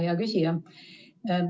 Hea küsija!